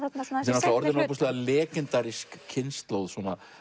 þetta er orðin ofboðslega kynslóð